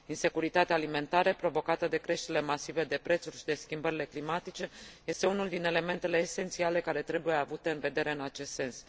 Insecuritatea alimentară, provocată de creșterile masive de prețuri și de schimbările climatice, este unul din elementele esențiale care trebuie avute în vedere în acest sens.